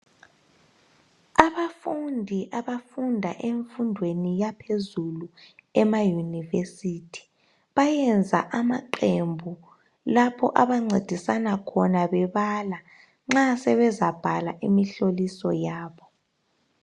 Abafundi abafunda emfundweni yaphezulu ema university. Bayenza amaqembu lapho abancedisa khona bebala. Nxa sebezabhala imihloliso yabo.